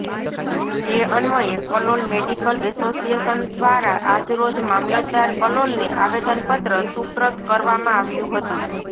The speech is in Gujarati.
જે અન્વયે કલોલ મેડીકલ એસોસિએશન ધ્વારા આજરોજ મામલતદાર કલોલને આવેદનપત્ર સુપ્રત કરવામાં આવ્યું હતું